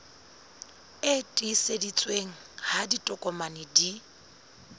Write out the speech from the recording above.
e tiiseditsweng ha ditokomane di